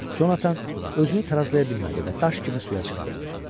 Conatan özünü tarazlaya bilmədi və daş kimi suya çırpıldı.